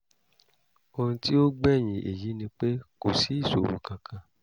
ohun tí ó gbẹ̀yìn èyí ni pé kò sí ìṣòro kankan